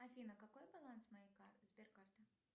афина какой баланс моей сберкарты